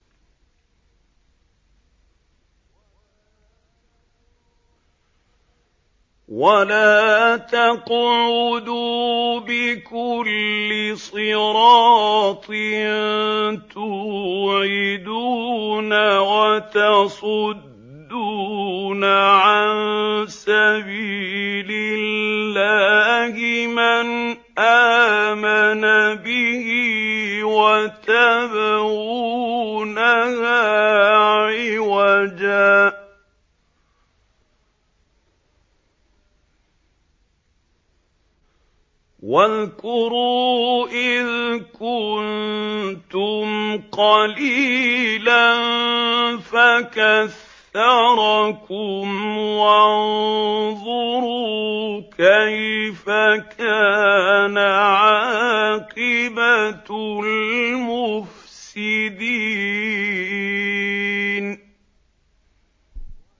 وَلَا تَقْعُدُوا بِكُلِّ صِرَاطٍ تُوعِدُونَ وَتَصُدُّونَ عَن سَبِيلِ اللَّهِ مَنْ آمَنَ بِهِ وَتَبْغُونَهَا عِوَجًا ۚ وَاذْكُرُوا إِذْ كُنتُمْ قَلِيلًا فَكَثَّرَكُمْ ۖ وَانظُرُوا كَيْفَ كَانَ عَاقِبَةُ الْمُفْسِدِينَ